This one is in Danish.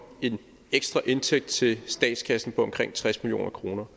en ekstra indtægt til statskassen på omkring tres million kroner